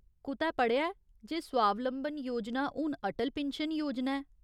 कुतै पढ़ेआ ऐ जे स्वावलंबन योजना हून अटल पिन्शन योजना ऐ ?